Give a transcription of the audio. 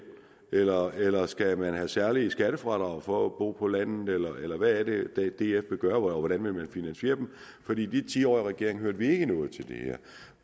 eller eller skal man have særlige skattefradrag for at bo på landet eller hvad er det df vil gøre og hvordan vil man finansiere dem i de ti år regering hørte vi ikke noget til det her